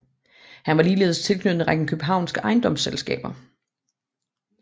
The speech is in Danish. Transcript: Han var ligeledes tilknyttet en række københavnske ejendomsselskaber